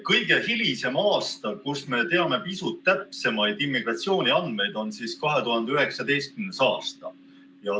Kõige hilisem aasta, kust me teame pisut täpsemaid immigratsiooniandmeid, on 2019. aasta.